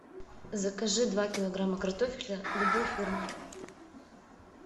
закажи два килограмма картофеля любой фирмы